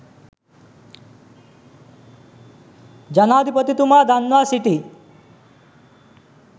ජනාධිපතිතුමා දන්වා සිටී.